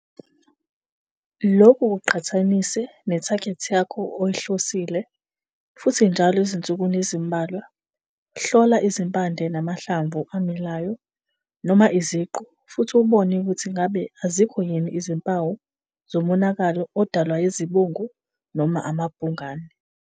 Lokhu kuqhathanise nethagethi yakho oyihlosile futhi njalo ezinsukwini ezimbalwa hlola izimpande namahlamvu amilayo noma iziqu futhi ubone ukuthi ngabe azikho yini izimpawu zomonakalo odalwa yizibungu noma amabhungane.